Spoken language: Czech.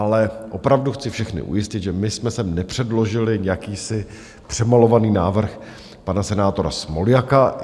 Ale opravdu chci všechny ujistit, že my jsme sem nepředložili jakýsi přemalovaný návrh pana senátora Smoljaka.